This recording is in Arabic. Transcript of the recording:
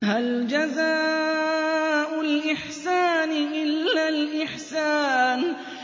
هَلْ جَزَاءُ الْإِحْسَانِ إِلَّا الْإِحْسَانُ